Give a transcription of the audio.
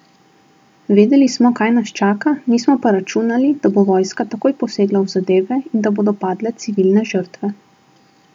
Vedeli smo, kaj nas čaka, nismo pa računali, da bo vojska takoj posegla v zadeve in da bodo padle civilne žrtve.